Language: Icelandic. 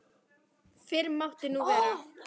Fyrr mátti nú vera!